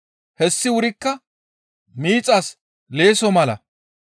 Hessi wurikka miixas leesso mala.